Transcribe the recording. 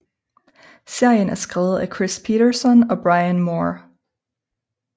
Serien er skrevet af Chris Peterson og Bryan Moore